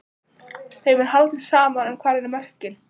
Þeim er haldið saman en hvar eru mörkin?